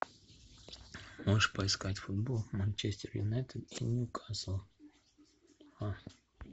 можешь поискать футбол манчестер юнайтед и ньюкасл а